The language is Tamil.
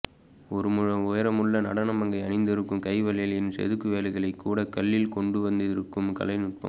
ஒரு முழ உயரமுள்ள நடனமங்கை அணிந்திருக்கும் கைவளையலின் செதுக்குவேலைகளைக்கூட கல்லில் கொண்டுவந்திருக்கும் கலைநுட்பம்